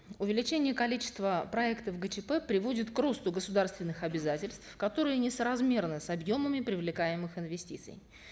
увеличение количества проектов гчп приводит к росту государственных обязательств которые несоразмерны с объемами привлекаемых инвестиций